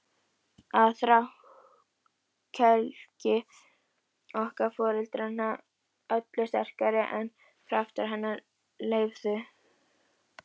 Og þrákelkni okkar foreldranna öllu sterkari en kraftar hennar leyfðu.